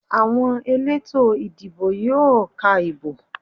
Àwọn elétò ìdìbò yóò ka ìbò.